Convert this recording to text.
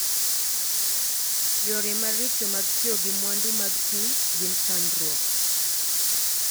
Yore maricho mag tiyo gi mwandu mag piny gin chandruok.